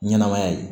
Ɲɛnɛmaya ye